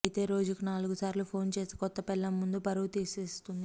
అయితే రోజుకు నాలుగుసార్లు ఫోన్ చేసి కొత్త పెళ్లాం ముందు పరువు తీసేస్తోంది